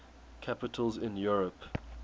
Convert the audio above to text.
capitals in europe